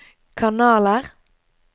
kanaler